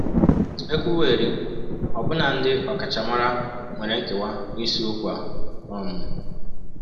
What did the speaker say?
E kwuwerị, ọbụna ndị ọkachamara nwere nkewa n’isiokwu a. um